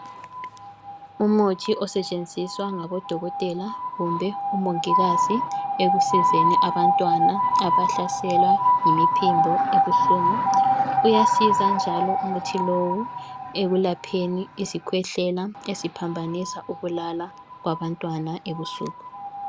Umuthi osetshenziswa ngabodokotela kumbe omongikazi. Ekusizeni abantwana abahlaselwa yimiphimbo ebuhlungu. Uyasiza njalo umuthi lowu ekuyelapheni izikhwehlela eziphambanisa ukulala kwabantwana ebusuku.